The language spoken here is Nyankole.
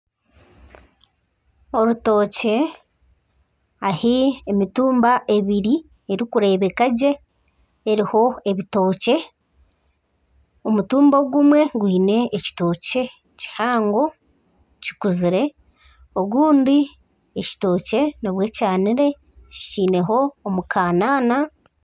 Orutookye ahi emitumba erikureebeka gye eriho ebitookye omutumba ogumwe gwine ekitookye kihango kikuzire ogundi ekitookye nibwo kyaniire kikyineho omukankana.